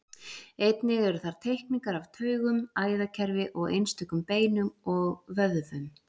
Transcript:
Einnig eru þar teikningar af taugum, æðakerfi og einstökum beinum og vöðvum.